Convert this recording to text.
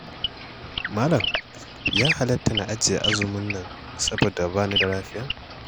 Malam ya halatta na ajiye azumin nan saboda ba ni da lafiya?